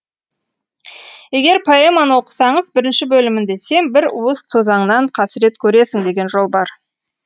егер поэманы оқысаңыз бірінші бөлімінде сен бір уыс тозаңнан қасірет көресің деген жол бар